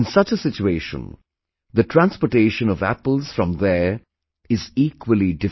In such a situation, the transportation of apples from there is equally difficult